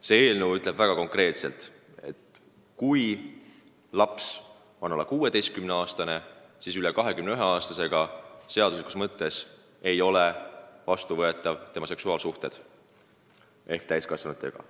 See eelnõu ütleb väga konkreetselt: kui laps on alla 16-aastane, siis üle 21-aastasega ehk täiskasvanuga ei ole tema seksuaalsuhted seaduse järgi vastuvõetavad.